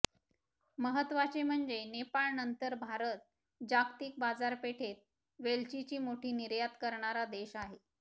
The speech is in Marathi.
महत्त्वाचे म्हणजे नेपाळनंतर भारत जागतिक बाजारपेठेत वेलचीची मोठी निर्यात करणारा देश आहे